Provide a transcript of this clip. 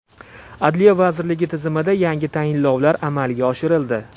Adliya vazirligi tizimida yangi tayinlovlar amalga oshirildi.